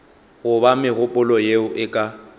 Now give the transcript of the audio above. goba megololo yeo e ka